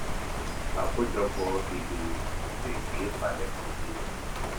àkójọpọ ìgbìyànjú lè ṣeé palẹmọ bí i